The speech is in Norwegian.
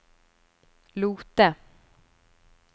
Lote